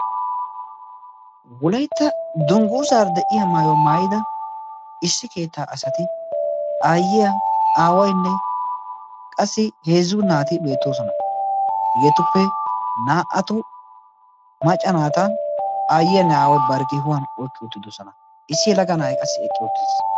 wolaytta dungguuzaara de'iya maayuwaa maayida issi keettaa asati aayyiya aawaynne qassi heezzu naati beettoosona. hegeetuppe naa"atu macca naata aayyiyaanne aaway bari kihuwan oykki uttidosona issi helaggaa na'i qassi eqqi uttiis.